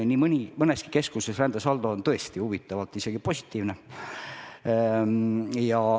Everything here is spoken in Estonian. Nii mõneski keskuses on rändesaldo huvitaval kombel isegi positiivne.